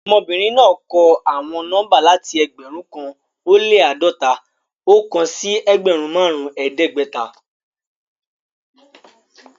Ọmọbinrin naa kọ awọn nọmba lati ẹgbẹrun kan o le ãdọta-ọkan si ẹgbẹrun marun ẹdẹgbẹta